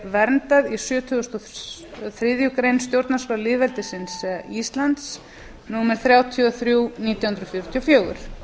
verndað í sjötugustu og þriðju grein stjórnarskrár lýðveldisins íslands númer þrjátíu og þrjú nítján hundruð fjörutíu og fjögur